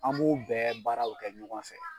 An b'u bɛɛ baaraw kɛ ɲɔgɔn fɛ.